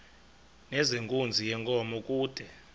nezenkunzi yenkomo kude